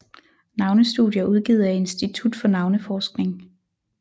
Navnestudier udgivet af Institut for Navneforskning